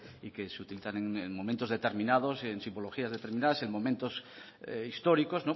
y que se utilizan en momentos determinados en simbologías determinadas en momentos históricos